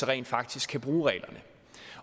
rent faktisk kan bruge reglerne